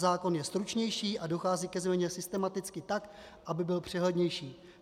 Zákon je stručnější a dochází ke změně systematicky tak, aby byl přehlednější.